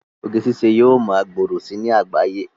Oge ṣiṣẹ́ yóò ma gbòòrò si ní àgbáyé